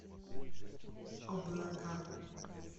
облака